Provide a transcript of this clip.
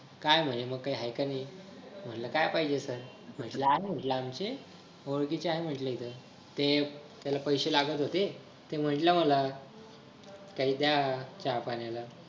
काय म्हणे मग हाय का नाही म्हंटल काय पाहिजे sir म्हंटल आमचे ओळखीचे आहे म्हंटल इथं ते त्याला पैसे लागत होते ते म्हंटल मला काही द्या चहा पाण्याला